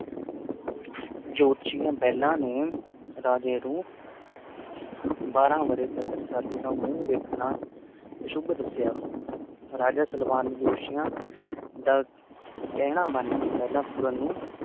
ਜੋਤਸ਼ੀਆਂ ਪਹਿਲਾਂ ਨੇ ਰਾਜੇ ਨੂੰ ਬਾਰਾਂ ਵਰ੍ਹੇ ਤੱਕ ਰਸਾਲੂ ਦਾ ਮੂੰਹ ਵੇਖਣਾ ਅਸ਼ੁੱਭ ਦੱਸਿਆ, ਰਾਜਾ ਸਲਵਾਨ ਨੇ ਜੋਤਸ਼ੀਆਂ ਦਾ ਕਹਿਣਾ ਮੰਨ ਕੇ ਪਹਿਲਾਂ ਪੂਰਨ ਨੂੰ